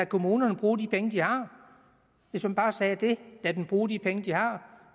kommunerne bruge de penge de har hvis man bare sagde det lade dem bruge de penge de har